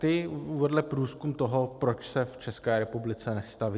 Ten vedl průzkum toho, proč se v České republice nestaví.